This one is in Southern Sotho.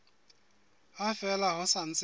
ha fela ho sa ntse